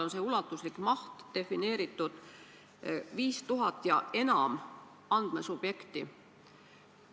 See ulatuslik maht on defineeritud: 5000 ja enam andmesubjekti.